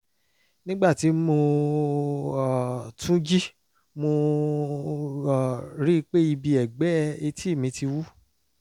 nígbà tí mo um tún jí mo um rí i pé ibi ẹ̀gbẹ́ etí mi ti wú